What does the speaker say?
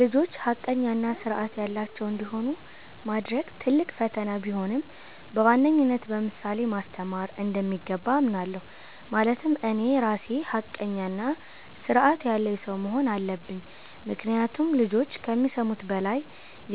ልጆች ሐቀኛ እና ሥርዐት ያላቸው እንዲሆኑ ማድረግ ትልቅ ፈተና ቢሆንም፣ በዋነኝነት በምሳሌ ማስተማር እንደሚገባ አምናለሁ። ማለትም እኔ ራሴ ሐቀኛና ሥርዐት ያለኝ ሰው መሆን አለብኝ፤ ምክንያቱም ልጆች ከሚሰሙት በላይ